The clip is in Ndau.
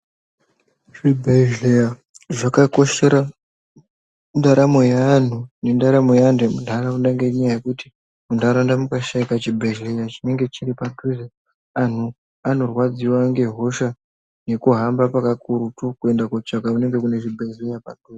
Zvibhehleya zvakakoshera ndaramo yeanhu emundaraunda ngenyaya kekuti mundaraunda mukashaika chibhehleya chinenge chiri padhuze anhu anorwadziwa ngehosha nekuhamba pakurutu kuenda kotsvaga kunege panezvibhehleya.